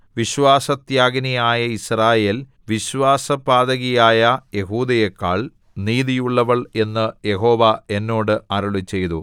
വിശ്വാസത്യാഗിനിയായ യിസ്രായേൽ വിശ്വാസപാതകിയായ യെഹൂദയെക്കാൾ നീതിയുള്ളവൾ എന്ന് യഹോവ എന്നോട് അരുളിച്ചെയ്തു